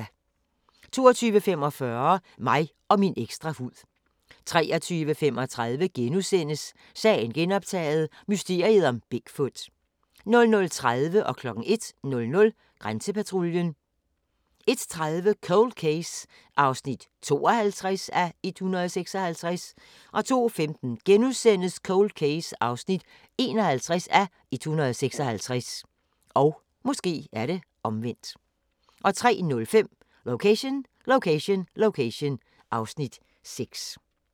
22:45: Mig og min ekstra hud 23:35: Sagen genoptaget – mysteriet om Big Foot * 00:30: Grænsepatruljen 01:00: Grænsepatruljen 01:30: Cold Case (52:156) 02:15: Cold Case (51:156)* 03:05: Location Location Location (Afs. 6)